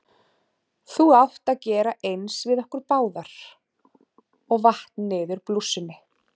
Þú átt að gera eins við okkur báðar- og vatt niður blússunni.